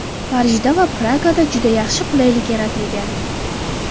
Parijda va Pragada juda yaxshi qulaylik yaratilgan.